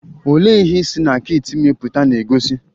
Olee ihe si na kit ime pụta na-egosi?